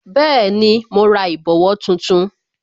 Bẹẹni, mo ra ìbòwó tuntun